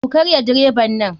Ku karya direban nan.